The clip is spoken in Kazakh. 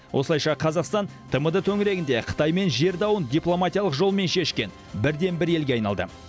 осылайша қазақстан тмд төңірегінде қытаймен жер дауын дипломатиялық жолмен шешкен бірден бір елге айналды